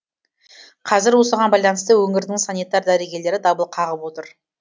қазір осыған байланысты өңірдің санитар дәрігерлері дабыл қағып отыр